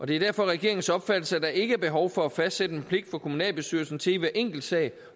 det er derfor regeringens opfattelse at der ikke er behov for at fastsætte en pligt for kommunalbestyrelsen til i hver enkelt sag